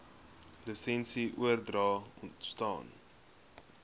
lisensie oorgedra staan